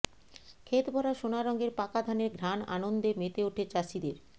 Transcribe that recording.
ক্ষেত ভরা সোনা রঙের পাকা ধানের ঘ্রাণআনন্দে মেতে ওঠে চাষীদের